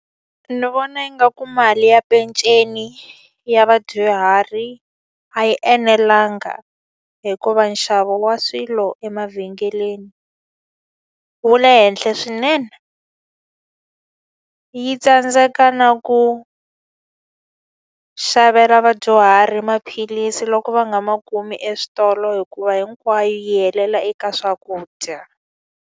Ni vona yi nga ku mali ya peceni ya vadyuhari a yi enelanga hikuva nxavo wa swilo emavhengeleni wu le henhla swinene. Yi tsandzeka na ku xavela vadyuhari maphilisi loko va nga ma kumi eswitolo hikuva hinkwayo yi helela eka swakudya.